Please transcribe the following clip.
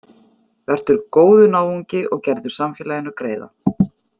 Vertu góður náungi og gerðu samfélaginu greiða.